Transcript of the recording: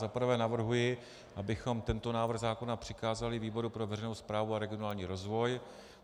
Za prvé navrhuji, abychom tento návrh zákona přikázali výboru pro veřejnou správu a regionální rozvoj.